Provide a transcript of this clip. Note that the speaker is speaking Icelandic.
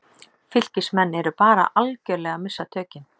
FYLKISMENN ERU BARA ALGERLEGA AÐ MISSA TÖKIN!